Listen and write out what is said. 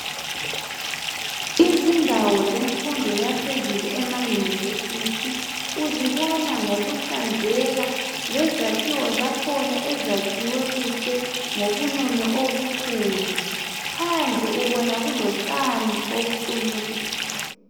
Izindawo zemfundo yaphezulu ema university uzibona ngokuhlanzeka, lezakhiwo zakhona ezakhiwe kuhle ngobunono obukhulu. Phandle ubona kulotshani obuqunywe kuhle.